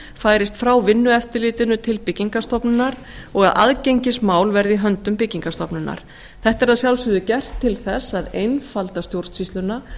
færist frá vinnueftirlitinu til byggingarstofnunar og að aðgengismál verði í höndum byggingarstofnunar þetta er að sjálfsögðu gert til þess að einfalda stjórnsýsluna